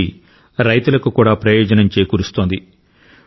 ఇది రైతులకు కూడా ప్రయోజనం చేకూరుస్తోంది